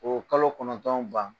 Oo kalo kɔnɔntɔn ban.